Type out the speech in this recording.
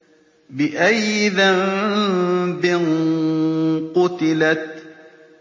بِأَيِّ ذَنبٍ قُتِلَتْ